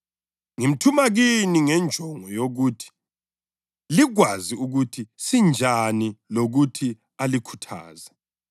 UThikhikhasi umzalwane othandekayo loyinceku ethembekileyo eNkosini uzalitshela konke ukuze lani lazi ukuba nginjani kanye lengikwenzayo.